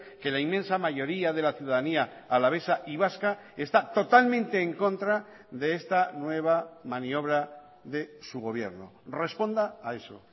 que la inmensa mayoría de la ciudadanía alavesa y vasca está totalmente en contra de esta nueva maniobra de su gobierno responda a eso